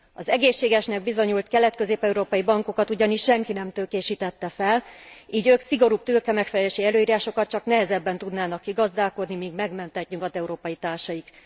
Az egészségesnek bizonyult kelet közép európai bankokat ugyanis senki nem tőkésítette fel, így ők a szigorúbb tőkemegfelelési előírásokat csak nehezebben tudnának kigazdálkodni, mint megmentett nyugat európai társaik.